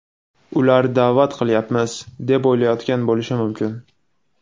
Ular da’vat qilyapmiz, deb o‘ylayotgan bo‘lishi mumkin.